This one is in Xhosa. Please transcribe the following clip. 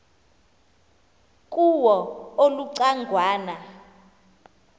kuwo uluca ngwana